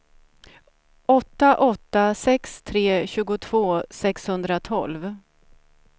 åtta åtta sex tre tjugotvå sexhundratolv